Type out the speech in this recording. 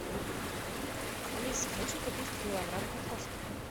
алиса хочу купить килограмм картошки